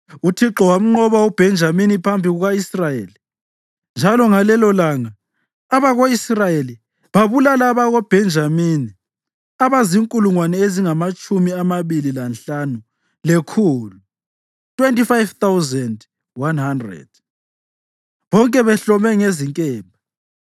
UThixo wamnqoba uBhenjamini phambi kuka-Israyeli, njalo ngalelolanga abako-Israyeli babulala abakoBhenjamini abazinkulungwane ezingamatshumi amabili lanhlanu lekhulu (25,100), bonke behlome ngezinkemba.